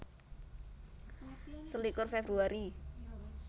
Selikur Februari